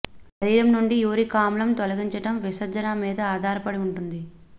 శరీరం నుండి యూరిక్ ఆమ్లం తొలగించడం విసర్జన మీద ఆధారపడి ఉంటుంది